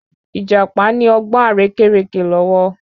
Ìjàpá ní ọgbọ́n àrékérekè lọ́wọ́